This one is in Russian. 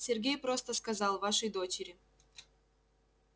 сергей просто сказал вашей дочери